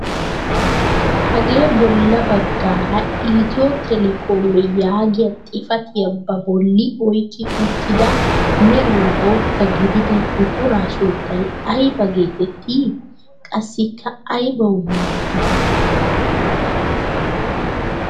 Hagee bolla baggaara "ethio telekom" yaagiyaa xifatiyaa ba bolli oyqqi uttida meran bootta gidida buquraa sunttay ayba getettii? Qassiikka aybawu maaddii?